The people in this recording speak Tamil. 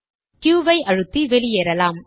க்யுq ஐ அழுத்தி வெளியேறலாம்